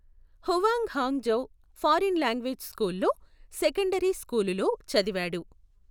Huang Hong Zhou foreign language school లో secondary స్కూలులో చదివాడు.